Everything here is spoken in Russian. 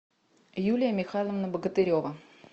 юлия михайловна богатырева